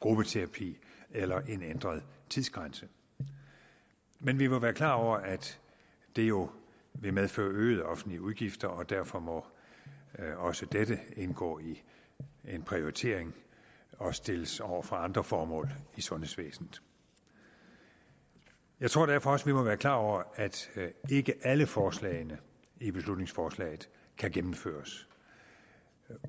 gruppeterapi eller en ændret tidsgrænse men vi må være klar over at det jo vil medføre øgede offentlige udgifter og derfor må også dette indgå i en prioritering og stilles over for andre formål i sundhedsvæsenet jeg tror derfor også at vi må være klar over at ikke alle forslagene i beslutningsforslaget kan gennemføres